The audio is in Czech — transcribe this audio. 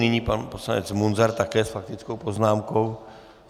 Nyní pan poslanec Munzar také s faktickou poznámkou.